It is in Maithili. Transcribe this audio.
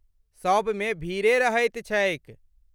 सबमे भीड़े रहैत छैक।